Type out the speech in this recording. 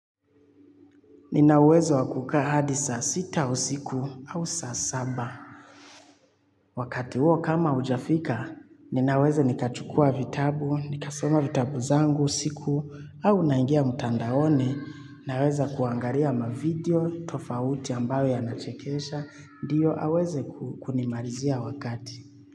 Nina uwezo wa kukaa hadi saa sita siku au saa saba. Wakati huo kama ujafika, ninaweza nikachukua vitabu, nikasoma vitabu zangu siku au naingia mtandaoni. Naweza kuangalia mavideo, tofauti ambayo yanachekesha, ndiyo aweze kunimalizia wakati.